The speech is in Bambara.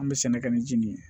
An bɛ sɛnɛ kɛ ni ji nin ye